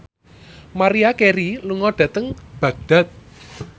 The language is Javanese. Maria Carey lunga dhateng Baghdad